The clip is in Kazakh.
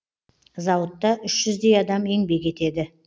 зауытта үш жүздей адам еңбек етеді